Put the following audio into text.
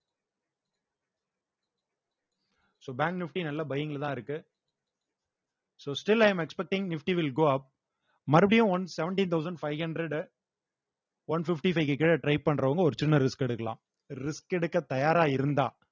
so bank nifty நல்ல buying லதான் இருக்கு so still i am expecting nifty will go up மறுபடியும் one seventy thousand five hundred uh one fifty five க்கு கீழ try பண்றவங்க ஒரு சின்ன risk எடுக்கலாம் risk எடுக்க தயாரா இருந்தா